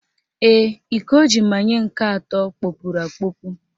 Ee, iko o ji manye nke atọ kpọpuru akpọpu